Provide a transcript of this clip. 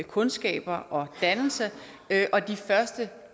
kundskaber og dannelse og de første